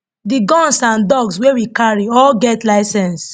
di guns and dogs wey we carry all get license